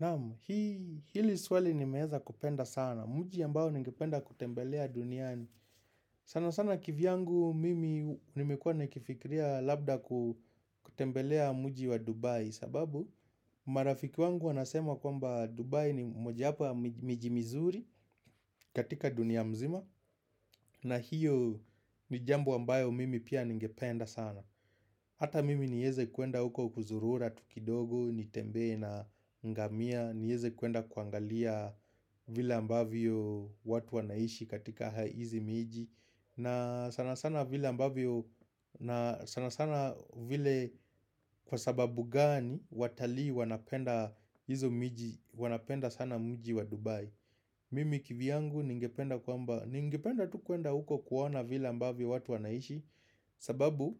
Na'am, hili swali nimeweza kupenda sana. Mji ambao ningependa kutembelea duniani. Sana sana kivyangu mimi nimekuwa nakifikiria labda kutembelea mji wa Dubai. Sababu, marafiki wangu wanasema kwamba Dubai ni mojawapo ya miji mizuri katika dunia mzima. Na hiyo ni jambo ambayo mimi pia ningependa sana. Hata mimi nieze kuenda huko kuzurura tuvkidogo, nitembee na ngamia. Niweze kuenda kuangalia vile ambavyo watu wanaishi katika hizi miji. Na sana sana vile ambavyo, na sana sana vile, kwa sababu gani watalii wanapenda hizo miji, wanapenda sana mji wa Dubai Mimi kivyangu ningependa kwamba, ningependa tu kuenda huko kuona vile ambavyo watu wanaishi sababu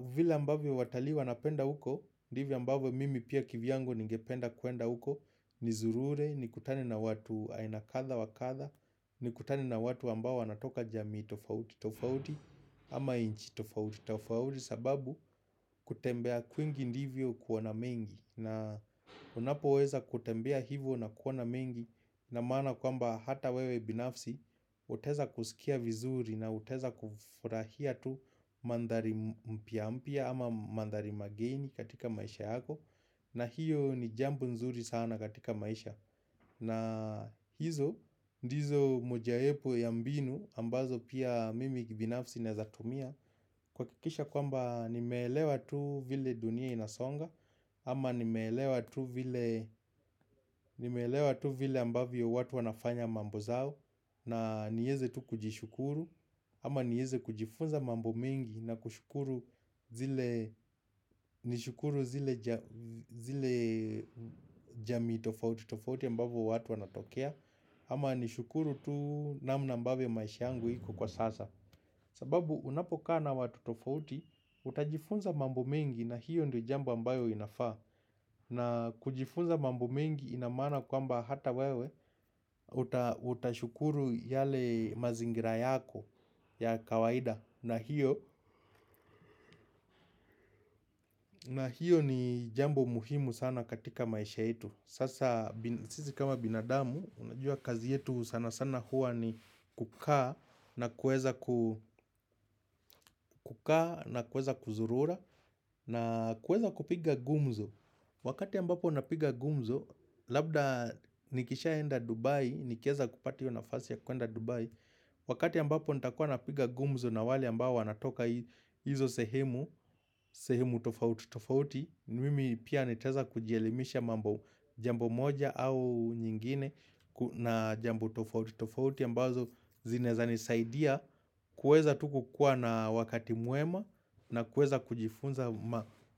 vila ambavyo watali wanapenda huko ndivyo ambavyo mimi pia kivyangu ningependa kuenda huko nizurure, nikutane na watu aina kadha wa kadha. Ni kutane na watu ambaoal wanatoka jamii tofauti tofauti ama nchi tofauti tofauti sababu kutembea kwingi ndivyo kuona mengi. Na unapoweza kutembea hivyo na kuona mengi ina maana kwamba hata wewe binafsi utaweza kusikia vizuri na utaweza kufurahia tu mandhari mpya mpya ama mandhari mageni katika maisha yakom na hiyo ni jambo nzuri sana katika maisha na hizo ndizo mojayepo ya mbinu ambazo pia mimi kibinafsi naweza tumia kuhakikisha kwamba nimeelewa tu vile dunia inasonga ama nimeelewa tu vile nimeelewa tu vile ambavyo watu wanafanya mambo zao na niweze tu kujishukuru ama niweze kujifunza mambo mengi na kushukuru zile, nishukuru zile jamii tofauti tofauti ambavyo watu wanatokea ama nishukuru tu namna ambavyo maisha yangu iko kwa sasa sababu unapokaavna watu tofauti utajifunza mambo mengi na hiyo ndo jambo ambayo inafaa. Na kujifunza mambo mengi ina maana kwamba hata wewe utashukuru yale mazingira yako ya kawaida na hiyo ni jambo muhimu sana katika maisha yetu. Sasa sisi kama binadamu unajua kazi yetu sana sana hua ni kukaa na kuweza ku, kukaa na kuweza kuzurura. Na kuweza kupiga gumzo. Wakati ambapo unapiga gumzo Labda nikishaenda Dubai, nikieza kupati hiyo nafasi ya kuenda Dubai Wakati ambapo nitakuwa napiga gumzo na wale ambao wanatoka hizo sehemu sehemu tofauti tofauti, mimi pia nitaweza kujielimisha mambo, jambo moja au nyingine na jambo tofauti tofauti ambazo zinaweza nisaidia kuweza tu kukua na wakati mwema na kuweza kujifunza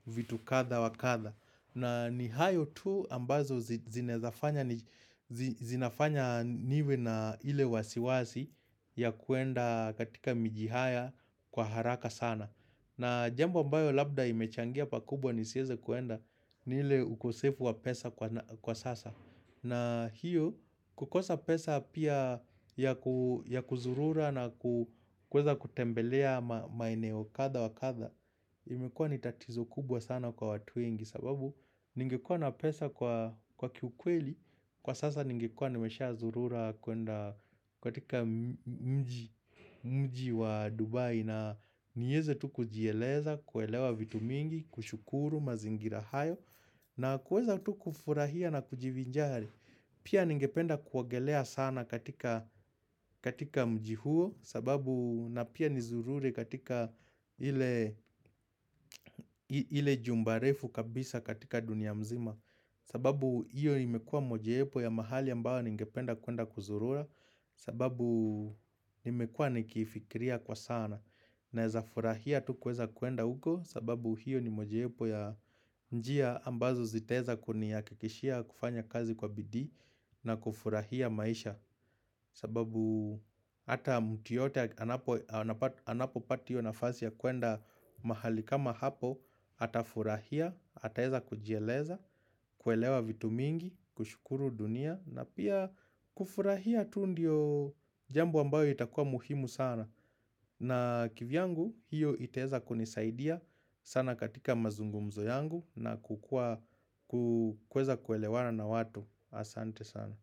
vitu kadha wa kadha na nihayo tu ambazo zinaweza fanya, zinafanya niwe na ile wasiwasi ya kuenda katika miji haya kwa haraka sana na jambo ambayo labda imechangia pakubwa nisiweze kuenda ni ile ukosefu wa pesa kwa sasa. Na hiyo kukosa pesa pia ya kuzurura na kuweza kutembelea maeneo kadha wa kadha imekuwa ni tatizo kubwa sana kwa watu wengi sababu ningekua na pesa kwa kiukweli Kwa sasa ningekua nimeshazurura kuenda katika mji wa Dubai na niweze tu kujieleza, kuelewa vitu mingi, kushukuru, mazingira hayo na kuweza tu kufurahia na kujivinjari Pia ningependa kuogelea sana katika mji huo sababu na pia nizurure katika ile ile jumba refu kabisa katika dunia mzima sababu hiyo imekua mojawapo ya mahali ambayo ningependa kuenda kuzurura. Sababu nimekua nikiifikiria kwa sanam Naeza furahia tu kuweza kuenda huko sababu hiyo ni mojawapo ya njia ambazo zitaweza kunihakikishia kufanya kazi kwa bidii na kufurahia maisha. Sababu hata mtu yoyote anapopata hiyo nafasi ya kuenda mahali kama hapo atafurahia, ataweza kujieleza, kuelewa vitu mingi, kushukuru dunia na pia kufurahia tu ndio jambo ambayo itakua muhimu sana na kivyangu hiyo itaweza kunisaidia sana katika mazungumzo yangu na kuweza kuelewana na watu. Asante sana.